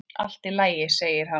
Allt í lagi, segir hann.